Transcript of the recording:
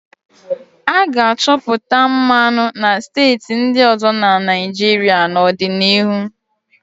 A ga-achọpụta mmanụ na steeti ndị ọzọ na Naịjirịa n'ọdịnihu.